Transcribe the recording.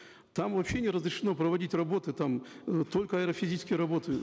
там вообще не разрешено проводить работы там э только аэрофизические работы